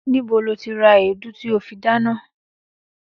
Níbo lo ti ra èédú tí o fi dáná?